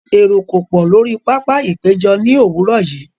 Èrò kò pọ̀ lórí pápá-ìpéjọ ní òwúrọ̀ yìí.